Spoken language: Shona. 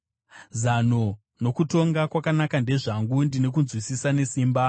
Zano nokutonga kwakanaka ndezvangu; ndine kunzwisisa nesimba.